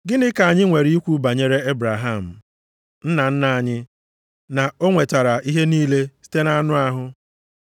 Gịnị ka anyị nwere ikwu banyere Ebraham, nna nna anyị na o nwetara ihe niile site nʼanụ ahụ?